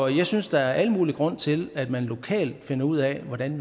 jeg synes der er al mulig grund til at man lokalt finder ud af hvordan